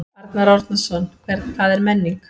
Arnar Árnason: Hvað er menning?